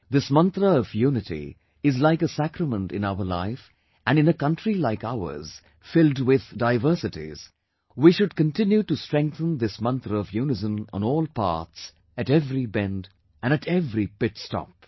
This mantra of unity is like a sacrament in our life and in a country like ours filled with diversities, we should continue to strengthen this mantra of unison on all paths, at every bend, and at every pitstop